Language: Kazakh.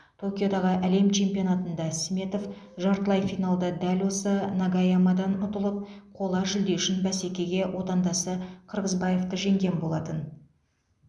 токиодағы әлем чемпионатында сметов жартылай финалда дәл осы нагаямадан ұтылып қола жүлде үшін бәсекеге отандасы қырғызбаевты жеңген болатын